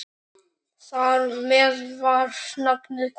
Þar með var nafnið komið.